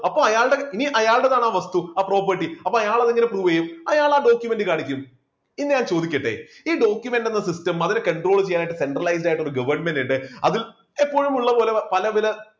അപ്പോ അയാളുടെ ഇനിയും അയാളുടെ താണ് ആ വസ്തു ആ property അപ്പോ അയാൾ അത് എങ്ങനെ prove ചെയ്യും അപ്പോ അയ്യാൾ ആ document കാണിക്കും. ഇനി ഞാൻ ചോദിക്കട്ടെ ഈ document എന്ന system അതിനെ control ചെയ്യാൻ ആയിട്ട് centralized ആയിട്ട് ഒരു government ഉണ്ട് അതിൽ എപ്പോഴും ഉള്ള പോലെ പല പല